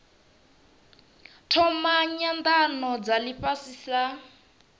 thoma nyanano dza ifhasi sa